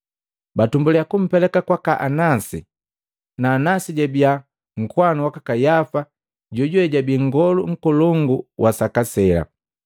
batumbuliya kumpeleka kwaka Anasi, na Anasi jabiya nkowanu waka Kayafa jojuwe jojabii nngolu nkolongu wa saka sela.